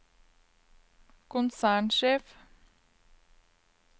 konsernsjef